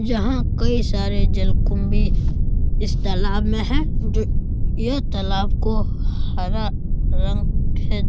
यहाँ के सारे जलकुंभी इस तालाब में है जो यह तालाब को हरा रंग खे --